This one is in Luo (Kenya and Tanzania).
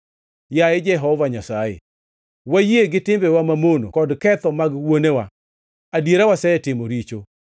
Yaye Jehova Nyasaye, wayie gi timbewa mamono kod ketho mag wuonewa; adiera wasetimoni richo.